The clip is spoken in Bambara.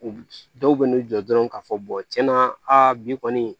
U dɔw bɛ n'u jɔ dɔrɔn k'a fɔ tiɲɛna a bi kɔni